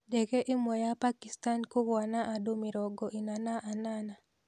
Ndege ĩmwe ya Pakistan kũgũa na andũ mĩrongo ĩna na anana.